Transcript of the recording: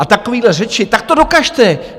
A takové řeči, tak to dokažte.